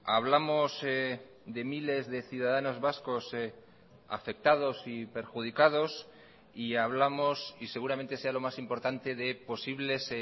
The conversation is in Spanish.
hablamos de miles de ciudadanos vascos afectados y perjudicados y hablamos y seguramente sea lo más importante de posibles